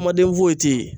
Amaden foyi tɛ yen